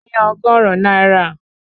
Mo yá ọgọ́rùn-ún náírà